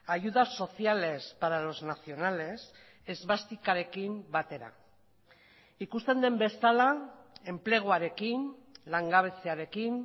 ayudas sociales para los nacionales esbastikarekin batera ikusten den bezala enpleguarekin langabeziarekin